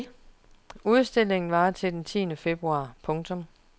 Udstillingen varer til den tiende februar. punktum